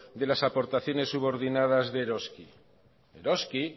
de las aportaciones subordinadas de eroski eroski